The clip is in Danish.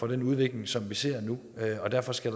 den udvikling som vi ser nu og derfor skal